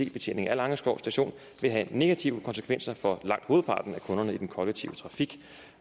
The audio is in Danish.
ic betjening af langeskov station vil have negative konsekvenser for langt hovedparten af kunderne i den kollektive trafik